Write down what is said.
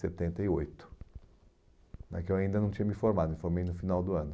setenta e oito né que eu ainda não tinha me formado, me formei no final do ano.